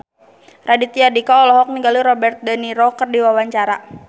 Raditya Dika olohok ningali Robert de Niro keur diwawancara